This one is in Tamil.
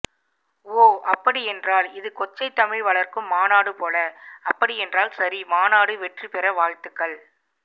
ஓ அப்படியென்றால் இது கொச்சை தமிழ் வளர்க்கும் மாநாடு போல அப்படி என்றால் சரி மாநாடு வெற்றி பெற வாழ்த்துக்கள்